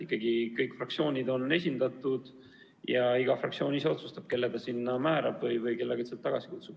Ikkagi kõik fraktsioonid on esindatud ja iga fraktsioon ise otsustab, kelle ta sinna määrab või kelle ta tagasi kutsub.